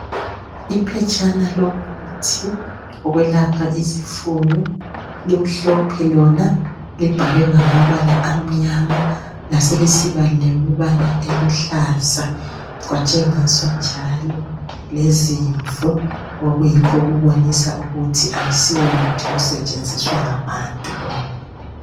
Iphetshana lomuthi okwelapha izifuyo, limhlophe lona libhalwe ngamabala amnyama laseliba lamabala aluhlaza. Latshengisa njalo umfanekiso wemvu okutshengisa ukuthi asiwo muthi osentshenziswa ngabantu lowu.